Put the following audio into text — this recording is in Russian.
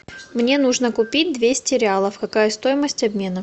мне нужно купить двести реалов какая стоимость обмена